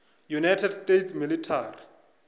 united states military